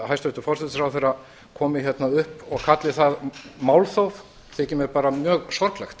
hæstvirtur forsætisráðherra komi hérna upp og kalli það málþóf þykir mér mjög sorglegt